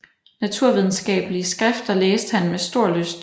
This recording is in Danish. Naturvidenskabelige skrifter læste han med stor lyst